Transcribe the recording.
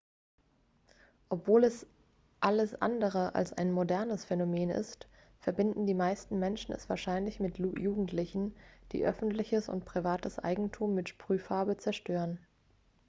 obwohl es alles andere als ein modernes phänomen ist verbinden die meisten menschen es wahrscheinlich mit jugendlichen die öffentliches und privates eigentum mit sprühfarbe zerstören